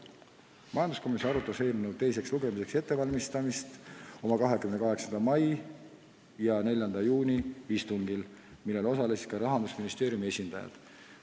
Majanduskomisjon arutas eelnõu teiseks lugemiseks ettevalmistamist oma 28. mai ja 4. juuni istungil, millel osalesid ka Rahandusministeeriumi esindajad.